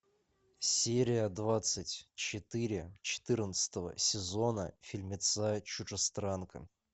серия двадцать четыре четырнадцатого сезона фильмеца чужестранка